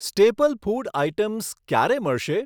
Staple food items ક્યારે મળશે?